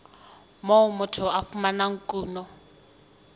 moo motho a fumanang kuno